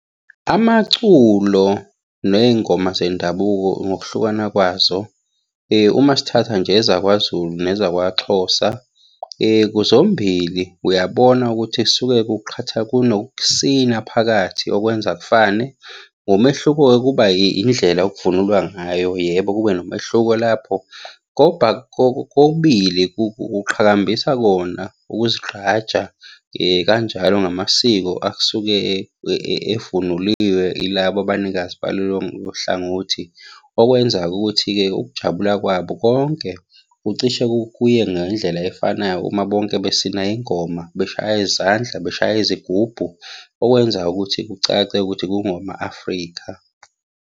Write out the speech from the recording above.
Amaculo ney'ngoma zendabuko ngokuhlukana kwazo, uma sithatha nje ezakwaZulu, nezakwaXhosa, zombili uyabona ukuthi suke kunokusina phakathi okwenza kufane. Ngomehluko-ke kuba yindlela okuvunulwa ngayo, yebo kube nomehluko lapho. Kokubili kuqhakambisa kona ukuzigqaja kanjalo ngamasiko asuke evunuliwe yilabo abanikazi balolo hlangothi. Okwenza-ke ukuthi-ke ukujabula kwabo konke kucishe kuye ngendlela efanayo uma bonke besina ingoma, beshaya izandla, beshaya izigubhu. Okwenza-ke ukuthi kucace ukuthi kungoma-Afrika.